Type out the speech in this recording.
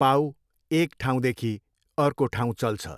पाउ एक ठाउँदेखि अर्को ठाउँ चल्छ।